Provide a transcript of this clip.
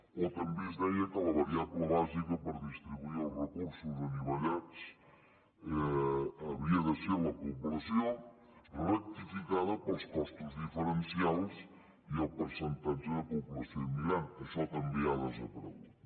o també s’hi deia que la variable bàsica per distribuir els recursos anivellats havia de ser la població rectificada pels costos diferencials i el percentatge de població immigrant això també ha desaparegut